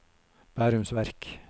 Bærums Verk